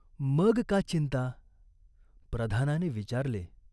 मग का चिंता ?" प्रधानाने विचारले.